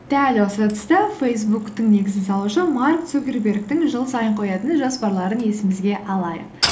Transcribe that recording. дәл осы тұста фейсбуктің негізін салушы марк цукербергтің жыл сайын қоятын жоспарларын есімізге алайық